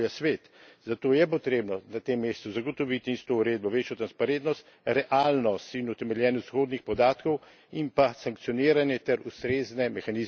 Zato je potrebno na tem mestu zagotoviti s to uredbo večjo transparentnost, realnost in utemeljenost vhodnih podatkov in pa sankcioniranje ter ustrezne mehanizme nadzora.